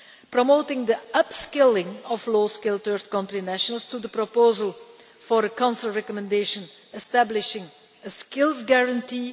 promoting the upskilling of low skilled third-country nationals to the proposal for a Council recommendation establishing a skills guarantee